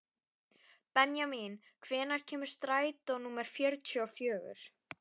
Benjamín, hvenær kemur strætó númer fjörutíu og fjögur?